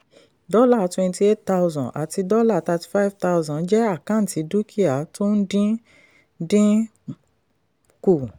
dollar twenty eight thousand àti dollar thirty five thousand jẹ́ àkáǹtì dúkìá tó ń dín ń dín kù.